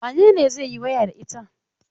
Wane ne zai yi waya da ita?